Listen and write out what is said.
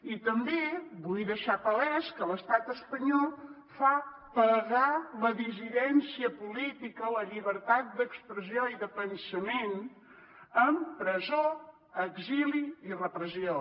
i també vull deixar palès que l’estat espanyol fa pagar la dissidència política la llibertat d’expressió i de pensament amb presó exili i repressió